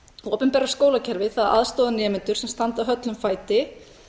opinbera skólakerfi aðstoðar nemendur sem standa höllum fæti